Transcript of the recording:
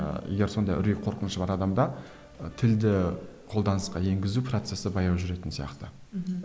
ыыы егер сондай үрей қорқынышы бар адамда ы тілді қолданысқа енгізу процессі баяу жүретін сияқты мхм